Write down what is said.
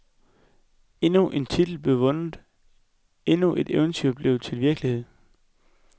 Endnu en titel blev vundet, endnu et eventyr blev til virkelighed.